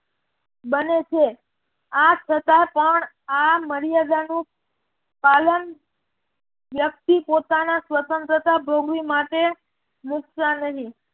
બને છે. આ સજા પણ આ મર્યાદાનું પાલન વ્યક્તિ પોતાના સ્વતંત્રતા ભોગવી માટે મુકતા નહિ